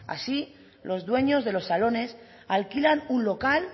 as los dueños de los salones alquilan un local